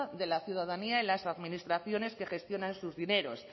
de la ciudadanía en las administraciones que gestionan sus dineros